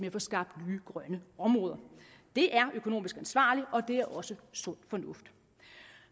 at få skabt nye grønne områder det er økonomisk ansvarligt og det er også sund fornuft